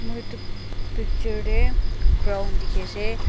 picture dey ground dikhi ase.